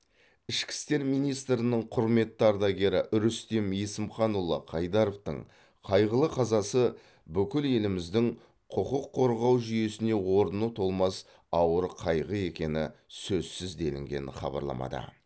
ішкі істер министрінің құрметті ардагері рүстем есімханұлы қайдаровтың қайғылы қазасы бүкіл еліміздің құқық қорғау жүйесіне орны толмас ауыр қайғы екені сөзсіз делінген хабарламада